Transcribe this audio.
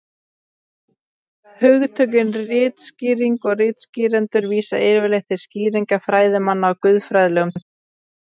Hugtökin ritskýring og ritskýrendur vísa yfirleitt til skýringa fræðimanna á guðfræðilegum texta.